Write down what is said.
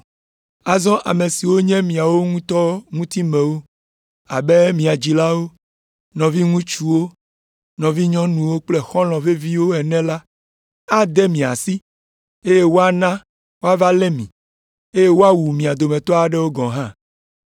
Azɔ ame siwo nye miawo ŋutɔ ŋutimewo, abe mia dzilawo, nɔviŋutsuwo, nɔvinyɔnuwo kple xɔlɔ̃ veviwo ene la ade mi asi, eye woana woava lé mi, eye woawu mia dometɔ aɖewo gɔ̃ hã.